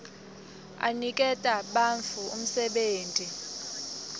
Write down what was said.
aniketa bantfu umsebenti